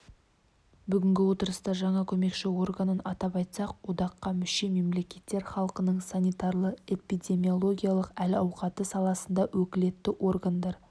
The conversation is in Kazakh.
бүгінгі отырыста жаңа көмекші органын атап айтсақ одаққа мүше мемлекеттер халқының санитарлы-эпидемилогиялық әл-ауқаты саласында өкілетті органдар